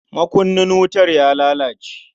Makunnin wutar ya lalace.